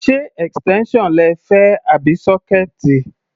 Ṣé extension lẹ fẹ́ àbí sọkẹẹti?